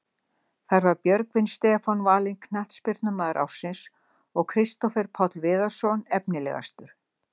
Þar var Björgvin Stefán valinn knattspyrnumaður ársins og Kristófer Páll Viðarsson efnilegastur.